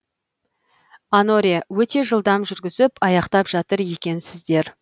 аноре өте жылдам жүргізіп аяқтап жатыр екенсіздер